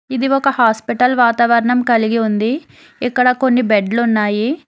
ఇది ఒక హాస్పిటల్ వాతావరణం కలిగి ఉంది ఇక్కడ కొన్ని బెడ్లు ఉన్నాయి.